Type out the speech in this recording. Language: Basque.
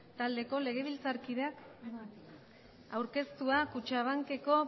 taldeko legebiltzarkideak aurkeztua kutxabankeko